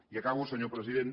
i acabo senyor president